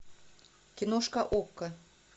киношка окко